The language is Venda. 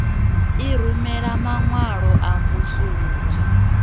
i rumela maṅwalo a mvusuludzo